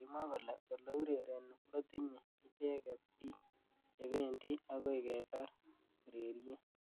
Kimwa kole ole urereni kotinye icheket bik. chebendi akoi ketar ureriet.